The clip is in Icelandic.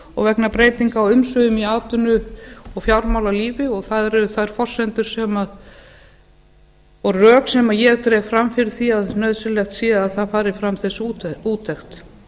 og vegna breytinga á umsvifum í atvinnu og fjármálalífi og það eru þær forsendur og rök sem ég dreg fram fyrir því að nauðsynlegt sé að það fari fram þessi úttekt